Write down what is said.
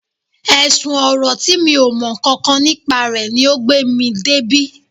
Ẹ̀sùn ọ̀rọ̀ tí mi ò mọ nǹkan kan nípa rẹ̀ ni o gbé mi débí